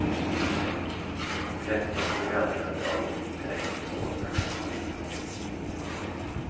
Tretton programföretag trängs på åtta kanaler.